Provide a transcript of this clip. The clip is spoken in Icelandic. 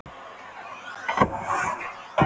Ég ætti að ná í Stefán sagði Thomas fljótmæltur.